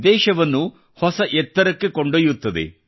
ದೇಶವನ್ನು ಹೊಸ ಎತ್ತರಕ್ಕೆ ಕೊಂಡೊಯ್ಯುತ್ತದೆ